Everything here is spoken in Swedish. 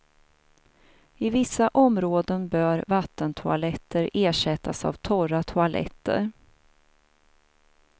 I vissa områden bör vattentoaletter ersättas av torra toaletter.